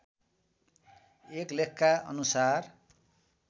एक लेखका अनुसार